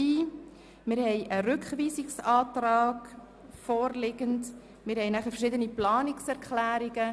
Wir haben einen Rückweisungsantrag, sowie verschiedenen Planungserklärungen.